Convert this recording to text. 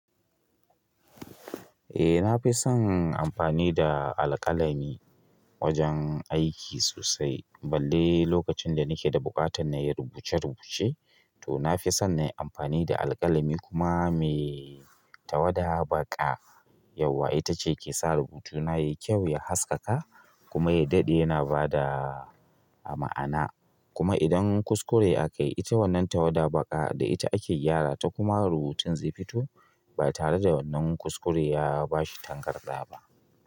Eh na fi son amfani da alƙalami wajen aiki sosai, balle lokacin da na ke da buƙatar na yi rubuce-rubuce. To na fi son na yi amfani da alƙalami kuma mai tawada baƙa. Yauwa ita ce ke sa rubutuna ya yi kyau, ya haskaka kuma ya daɗe yana ba da ma'ana. Kuma idan kuskure akayi ita wannan tawada baka da ita ake gyara ta kuma rubutun zai fito ba tare da wannan kuskure ya bashi tankarda ba.